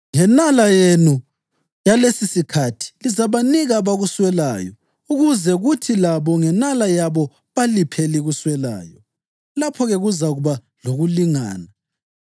Ngenala yenu yalesisikhathi lizabanika abakuswelayo, ukuze kuthi labo ngenala yabo baliphe elikuswelayo. Lapho-ke kuzakuba lokulingana,